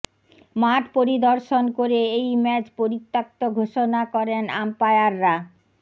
মাঠ পরিদর্শন করে এই ম্যাচ পরিত্যক্ত ঘোষণা করেন আম্পায়াররা